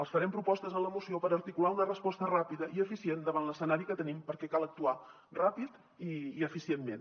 els farem propostes en la moció per articular una resposta ràpida i eficient davant l’escenari que tenim perquè cal actuar ràpid i eficientment